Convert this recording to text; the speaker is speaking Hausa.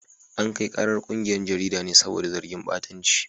An kai karar kungiyar jaridar ne saboda zargin batanci.